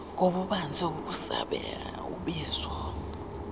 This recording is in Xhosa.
ngobubanzi ukusabela ubizo